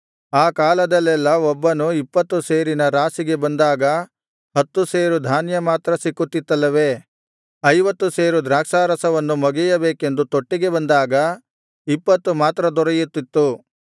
ಆ ಕಾಲದಲ್ಲೆಲ್ಲಾ ಒಬ್ಬನು ಇಪ್ಪತ್ತು ಸೇರಿನ ರಾಶಿಗೆ ಬಂದಾಗ ಹತ್ತು ಸೇರು ಧಾನ್ಯ ಮಾತ್ರ ಸಿಕ್ಕುತ್ತಿತ್ತಲ್ಲವೇ ಐವತ್ತು ಸೇರು ದ್ರಾಕ್ಷಾರಸವನ್ನು ಮೊಗೆಯಬೇಕೆಂದು ತೊಟ್ಟಿಗೆ ಬಂದಾಗ ಇಪ್ಪತ್ತು ಮಾತ್ರ ದೊರೆಯುತ್ತಿತ್ತು